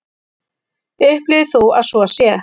Upplifir þú að svo sé?